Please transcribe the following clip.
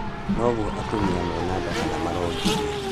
Noguo atumia mena nda kana maraongithia.